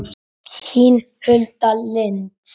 Þín Hulda Lind.